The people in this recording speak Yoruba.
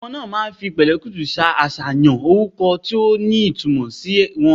Àwon obi omo naa maa fi pèlékùtù sa àsàyàn oruko ti o ni itumò si won